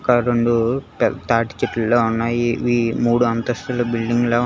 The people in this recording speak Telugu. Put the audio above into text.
ఒక రొండు పెద్ద తాటిచెట్ల ఉన్నాయి ఇవి మూడు అంతస్తుల బిల్డింగ్ లా--